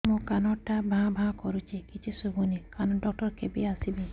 ମୋ କାନ ଟା ଭାଁ ଭାଁ କରୁଛି କିଛି ଶୁଭୁନି କାନ ଡକ୍ଟର କେବେ ଆସିବେ